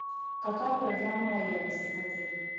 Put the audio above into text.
какая программа лояльности в отеле